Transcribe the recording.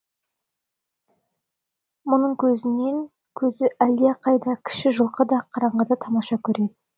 мұның көзінен көзі әлдеқайда кіші жылқы да қараңғыда тамаша көреді